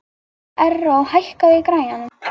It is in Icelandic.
Erró, hækkaðu í græjunum.